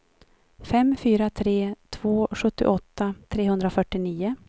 fem fyra tre två sjuttioåtta trehundrafyrtionio